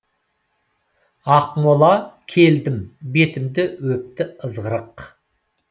ақмола келдім бетімді өпті ызғырық